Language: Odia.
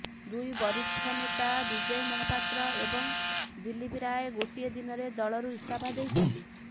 ଦୁଇ ବରିଷ୍ଠ ନେତା ବିଜୟ ମହାପାତ୍ର ଏବଂ ଦିଲ୍ଲୀପ ରାୟ ଗୋଟିଏ ଦିନରେ ଦଳରୁ ଇସ୍ତଫା ଦେଇଛନ୍ତି